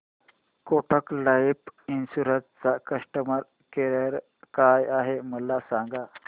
Kotak life insurance चा customer care काय आहे मला सांगा